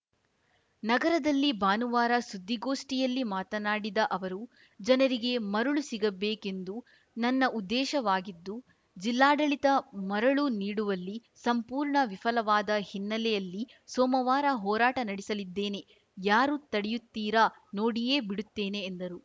ನಗರದಲ್ಲಿ ಭಾನುವಾರ ಸುದ್ದಿಗೋಷ್ಠಿಯಲ್ಲಿ ಮಾತನಾಡಿದ ಅವರು ಜನರಿಗೆ ಮರಳು ಸಿಗಬೇಕೆಂದು ನನ್ನ ಉದ್ದೇಶವಾಗಿದ್ದು ಜಿಲ್ಲಾಡಳಿತ ಮರಳು ನೀಡುವಲ್ಲಿ ಸಂಪೂರ್ಣ ವಿಫಲವಾದ ಹಿನ್ನೆಲೆಯಲ್ಲಿ ಸೋಮವಾರ ಹೋರಾಟ ನಡೆಸಲಿದ್ದೇನೆ ಯಾರು ತಡೆಯುತ್ತೀರಾ ನೋಡಿಯೇ ಬಿಡುತ್ತೇನೆ ಎಂದರು